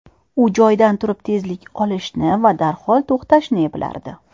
U joyidan turib tezlik olishni va darhol to‘xtashni eplardi.